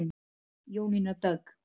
Jónína Dögg.